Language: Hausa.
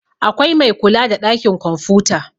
akwai Mai kula da ɗakin kwamfuta